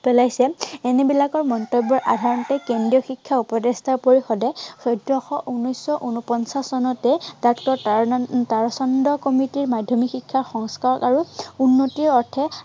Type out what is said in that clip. পেলাইছে, এনে বিলাক মন্তব্য় সাধাৰণতে কেন্দ্ৰীয় শিক্ষা উপদেষ্টা পৰিষদে চৈধ্য়শ ঊনৈশ শ উনপঞ্চাশ চনতে ডাক্টৰ তাৰানাথ উম তাৰাচন্দ্ৰ কমিটিৰ মাধ্য়মিক শিক্ষা সংস্কাৰ আৰু উন্নতিৰ অৰ্থে